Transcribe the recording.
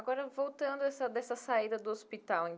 Agora, voltando essa dessa saída do hospital, em.